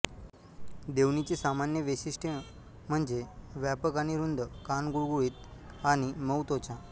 देवणी ची सामान्य वैशिष्ट्ये म्हणजे व्यापक आणि रुंद कान गुळगुळीत आणि मऊ त्वचा